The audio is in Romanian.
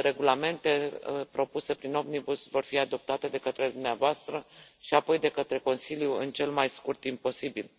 regulamente propuse prin Omnibus vor fi adoptate de către dumneavoastră și apoi de către Consiliu în cel mai scurt timp posibil.